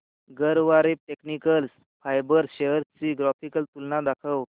Garware technical fibres shares ची graphical तुलना दाखव